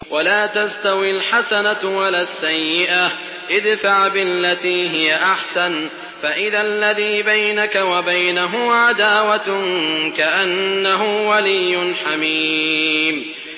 وَلَا تَسْتَوِي الْحَسَنَةُ وَلَا السَّيِّئَةُ ۚ ادْفَعْ بِالَّتِي هِيَ أَحْسَنُ فَإِذَا الَّذِي بَيْنَكَ وَبَيْنَهُ عَدَاوَةٌ كَأَنَّهُ وَلِيٌّ حَمِيمٌ